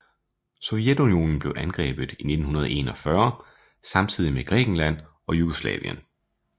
Sovjetunionen blev angrebet i 1941 samtidigt med Grækenland og Jugoslavien